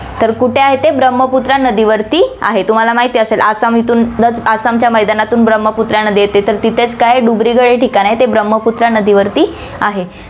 तर कुठे आहे, ते ब्रम्हपुत्रा नदीवरती आहे, तुम्हाला माहिती असेल, आसाम इथून आसामच्या मैदानातून ब्रम्हपुत्रा नदी येते, तर तिथेच काय डुबरीगड हे ठिकाण आहे, ते ब्रम्हपुत्रा नदीवरती आहे.